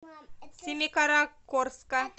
семикаракорска